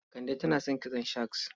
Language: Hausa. Kande tana son kitson shags?